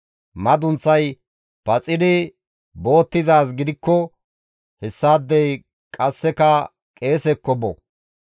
Madunththay paxidi boottizaaz gidikko hessaadey qasseka qeesekko bo.